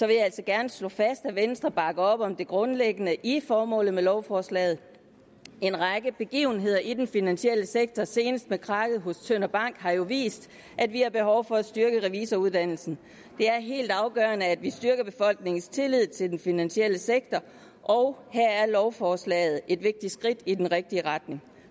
jeg altså gerne slå fast at venstre bakker op om det grundlæggende i formålet med lovforslaget en række begivenheder i den finansielle sektor senest med krakket hos tønder bank har jo vist at vi har behov for at styrke revisoruddannelsen det er helt afgørende at vi styrker befolkningens tillid til den finansielle sektor og her er lovforslaget et vigtigt skridt i den rigtige retning